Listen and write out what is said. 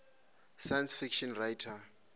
science fiction writers